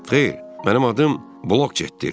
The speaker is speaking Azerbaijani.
Xeyr, mənim adım Blokçetdir.